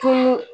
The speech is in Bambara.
Tumu